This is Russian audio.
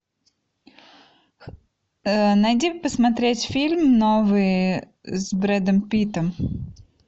найди посмотреть фильм новый с брэдом питтом